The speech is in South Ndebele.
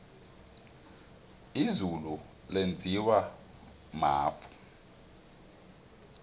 izulu lenziwa mafu